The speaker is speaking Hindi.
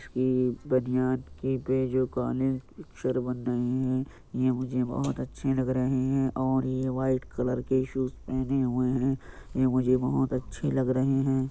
ये बनियान के दुकाने ये मुझे बहुत अच्छे लग रहे हैं और ये वाइट कलर के शूज पहने हुए है| ये मुझे बहुत अच्छे लग रहे हैं।